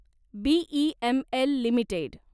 BEML limited